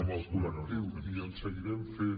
amb el col·lectiu i en seguirem fent